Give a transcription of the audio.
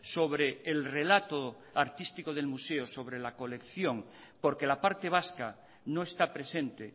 sobre el relato artístico del museo sobre la colección porque la parte vasca no está presente